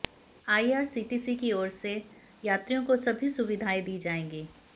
IRCTC की ओर से यात्रियों को सभी सुविधाएं दी जाएंगी